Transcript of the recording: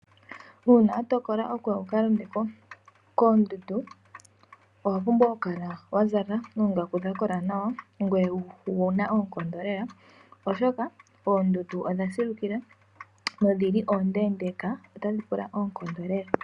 Uuna wa tokola okuka londa koondundu owa pumbwa oku kala wa zala oongaku dha kola nawa ngoye owuna oonkondo lela oshoka ,oondundu odha silukila dho oondeka otadhi pula oonkondo lela.